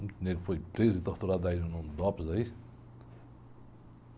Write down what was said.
Muito foi preso e torturado aí no Dops, aí.